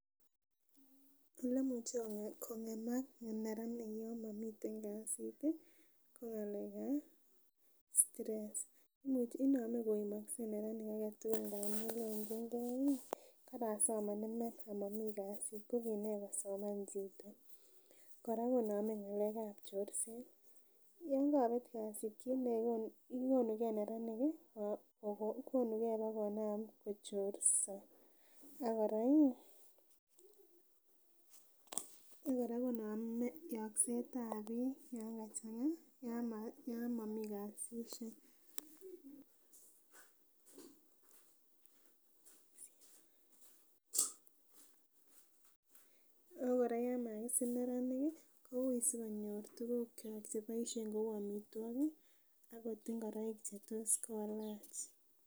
Elemuche kong'emak neranik yan momiten kasit ko ng'alek ab stress inome koimokse neranik aketugul amun lenjingee ih karasoman iman amomii kasit ko kinee kosoman chito. Kora konome ng'alek ab chorset, yon kobet kasit konugee neranik ih bokonam kochorso ak kora ih konome konome yokset ab biik yon kachang'a yon momii kasisiek. Ako kora yon makisir neranik ih kouui sikonyor tuguk cheboisien chou amitwogik akot ng'ororik chetos kolach